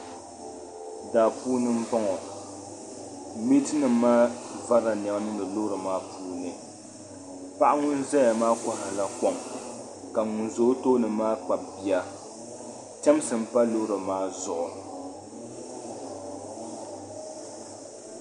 Daa puuni m-bɔŋɔ. Meetinima maa varila nɛma niŋdi loori maa puuni. Paɣa ŋun zaya maa kɔhirila kom ka ŋun za o tooni maa kpabi bia. Chɛmsi m-pa loori maa zuɣu.